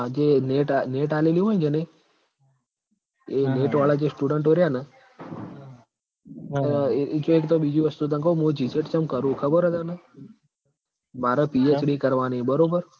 જે NET NET આલેલી હોય ન જેને એ NET વાળા જે students રયા ન અન એક તો બીજી વસ્તુ તન કઉ મું GSET ચમ કરુ હુ ખબર હ તન માર PhD કરવાની હ બરોબર